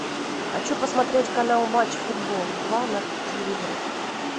хочу посмотреть канал матч футбол два на телевизоре